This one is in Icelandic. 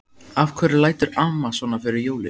Af hverju lætur amma svona fyrir jólin?